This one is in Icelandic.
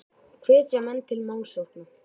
Gæði aukaatriði?